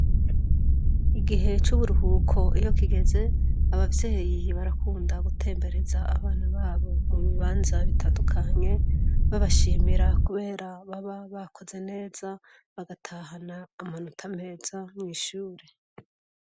Igihe c'uburuhuko iyo kigeze, abavyeyi barakunda gutembereza abana babo mu bibanza bitandukanye, babashimira kubera baba bakoze neza bagatahana amanota meza mw'ishure.